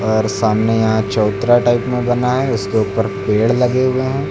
और सामने यहाँ चबूतरा टाइप में बना है उसके ऊपर पेड़ लगे हुए हैं।